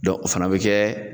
Dɔn o fana be kɛ